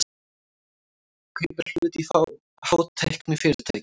Kaupir hlut í hátæknifyrirtæki